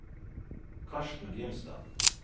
Karsten Grimstad